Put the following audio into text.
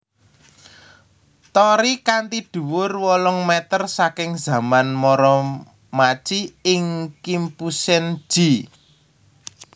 Torii kanthi dhuwur wolung meter saking zaman Muromachi ing Kimpusen ji